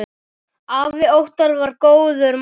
Afi Óttar var góður maður.